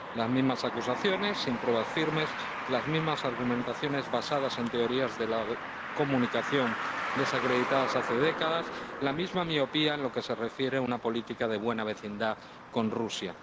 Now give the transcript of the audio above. Las mismas acusaciones sin pruebas firmes, las mismas argumentaciones basadas en teorías de la comunicación desacreditadas hace décadas, la misma miopía en lo que se refiere a una política de buena vecindad con Rusia.